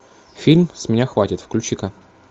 фильм с меня хватит включи ка